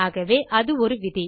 ஆகவே அது ஒரு விதி